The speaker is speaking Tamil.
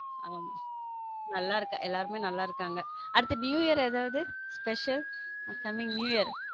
ஆமா நல்லா இருக்கா எல்லாரும் நல்லா இருக்காங்க அடுத்த new year ஏதாவது special coming new year.